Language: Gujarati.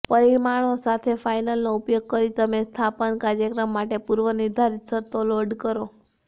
પરિમાણો સાથે ફાઇલનો ઉપયોગ કરીને તમે સ્થાપન કાર્યક્રમ માટે પૂર્વનિર્ધારિત શરતો લોડ કરો